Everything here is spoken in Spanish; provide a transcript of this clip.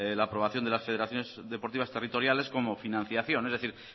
la aprobación de las federaciones deportivas territoriales como financiación es decir